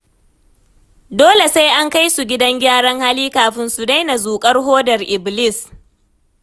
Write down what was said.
Dole sai an kai su gidan gyaran hali kafin su daina zuƙar hodar ibilis.